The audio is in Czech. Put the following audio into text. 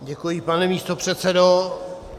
Děkuji, pane místopředsedo.